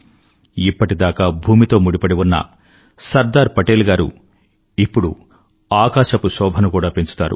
ఇప్పటిదాకా భూమితో ముడిపడిఉన్న సర్దార్ పటేల్ గారు ఇప్పుడు ఆకాశపు శోభను కూడా పెంచుతారు